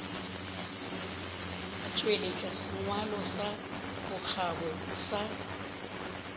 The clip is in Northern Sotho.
tšweletša sengwalo sa bokgabo sa